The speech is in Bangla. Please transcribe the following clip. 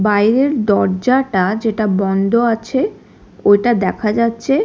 বাইরের দরজাটা যেটা বন্ধ আছে ওইটা দেখা যাচ্ছে।